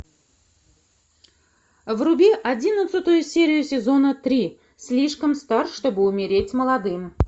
вруби одиннадцатую серию сезона три слишком стар чтобы умереть молодым